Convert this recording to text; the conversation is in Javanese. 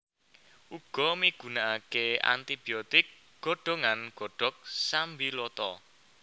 Uga migunakake anti biotik godhongan godhong sambiloto